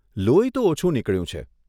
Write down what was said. લોહી તો ઓછું નીકળ્યું છે.